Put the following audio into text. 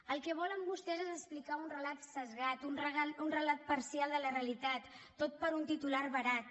el que volen vostès és explicar un relat esbiaixat un relat parcial de la realitat tot per un titular barat